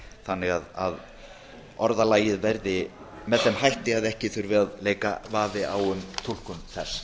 þannig að orðalagið verði með þeim hætti að ekki þurfi að leika vafi á um túlkun þess